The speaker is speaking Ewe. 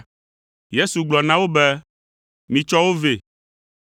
Yesu gblɔ na wo be, “Mitsɔ wo vɛ.”